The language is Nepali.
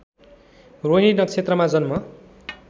रोहिणी नक्षत्रमा जन्म